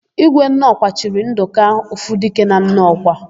Ígwé Nnọkwa chiri Ndụka, Ofudike na Nnọkwa.